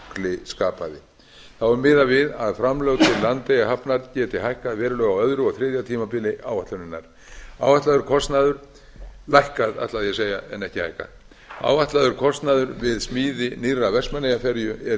eyjafjallajökli skapaði þá er miðað við að framlög til landeyjahafnar geti lækkað verulega á öðru og þriðja tímabili áætlunarinnar áætlaður kostnaður við smíði nýrrar vestmannaeyjaferju er